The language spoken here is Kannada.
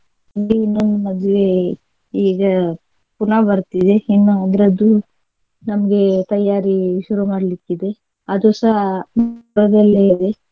ಇನ್ನು ಇನ್ನೊಂದು ಮದ್ವೆ ಈಗ ಪುನಾ ಬರ್ತಿದೆ ಇನ್ನಾ ಅದ್ರದ್ದು ನಮ್ಗೆ ತಯಾರಿ ಶುರು ಮಾಡ್ಲಿಕ್ಕಿದೆ ಇದೆ ಅದು ಸಹ ಸಧ್ಯದಲ್ಲೇ ಇದೆ.